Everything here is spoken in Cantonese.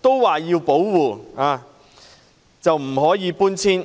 均要保護，不可搬遷。